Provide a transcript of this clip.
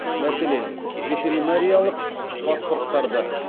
мәселен ветеринариялық паспорттарды